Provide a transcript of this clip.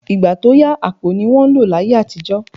Ìgbà tó yà, àpò ni wọ́n lò láyé àtijọ́